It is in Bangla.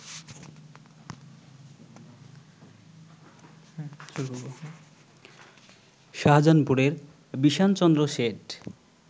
শাহজাহানপুরের বিষানচন্দ্র শেঠ